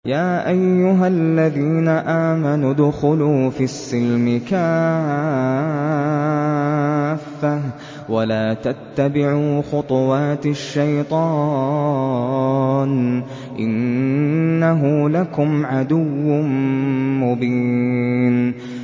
يَا أَيُّهَا الَّذِينَ آمَنُوا ادْخُلُوا فِي السِّلْمِ كَافَّةً وَلَا تَتَّبِعُوا خُطُوَاتِ الشَّيْطَانِ ۚ إِنَّهُ لَكُمْ عَدُوٌّ مُّبِينٌ